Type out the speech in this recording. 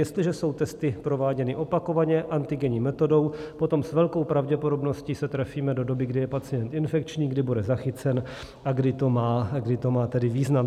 Jestliže jsou testy prováděny opakovaně antigenní metodou, potom s velkou pravděpodobností se trefíme do doby, kdy je pacient infekční, kdy bude zachycen a kdy to má tedy význam.